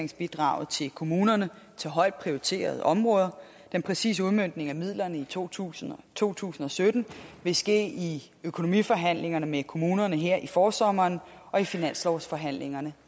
kommunerne til højt prioriterede områder den præcise udmøntning af midlerne i to tusind to tusind og sytten vil ske i økonomiforhandlingerne med kommunerne her i forsommeren og i finanslovsforhandlingerne